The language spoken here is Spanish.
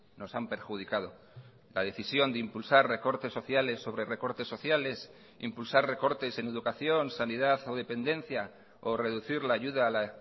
nos han perjudicado la decisión de impulsar recortes sociales sobre recortes sociales impulsar recortes en educación sanidad o dependencia o reducir la ayuda a la